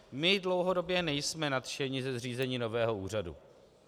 My dlouhodobě nejsme nadšeni ze zřízení nového úřadu.